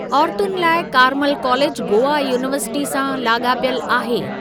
औरतुनि लाइ कार्मल कालेजु गोवा यूनीवर्सिटी सां लाॻापियलु आहे।